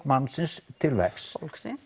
mannsins til verks fólksins